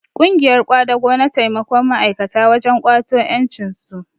Ƙungiyar ƙwadago na taimakon ma'aikata wajen ƙwato ƴancinsu